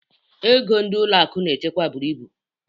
Ego ndị ụlọ akụ na-echekwa buru ibu